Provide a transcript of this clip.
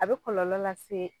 A be kɔlɔlɔ lase